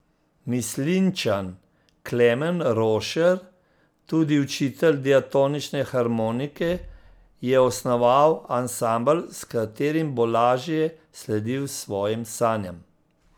Mislinjčan Klemen Rošer, tudi učitelj diatonične harmonike, je osnoval ansambel, s katerim bo lažje sledil svojim sanjam.